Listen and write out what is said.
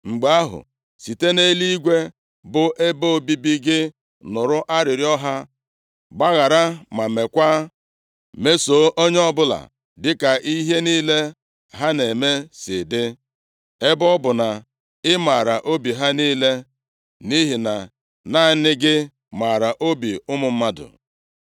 mgbe ahụ, site nʼeluigwe bụ ebe obibi gị nụrụ arịrịọ ha. Gbaghara ma meekwa; mesoo onye ọbụla dịka ihe niile ha na-eme si dị, ebe ọ bụ na ị maara obi ha niile (nʼihi na naanị gị maara obi ụmụ mmadụ),